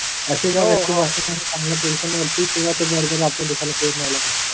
असे जेव्हा चांगल्या पोसिशन वरती तेव्हा ते बरोबर